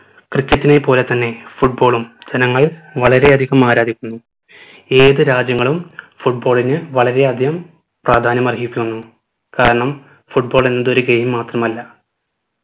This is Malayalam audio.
cricket നെ പോലെ തന്നെ football ഉം ജനങ്ങൾ വളരെയധികം ആരാധിക്കുന്നു ഏത് രാജ്യങ്ങളും football ന് വളരെയധികം പ്രാധാന്യം അർഹിക്കുന്നു കാരണം football എന്നത് ഒരു game മാത്രമല്ല